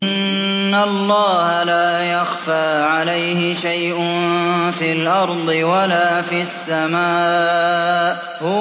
إِنَّ اللَّهَ لَا يَخْفَىٰ عَلَيْهِ شَيْءٌ فِي الْأَرْضِ وَلَا فِي السَّمَاءِ